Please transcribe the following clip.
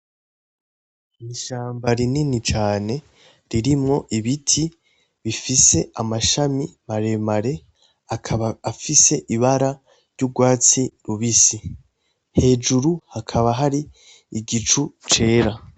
Ni ishamba rinini cane ririmwo ibiti bifise amashami maremare akaba afise ibara ry'ugwatsi rubisi hejuru hakaba hari igicu cera